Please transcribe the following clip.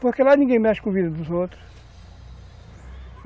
Porque lá ninguém mexe com a vida dos outros.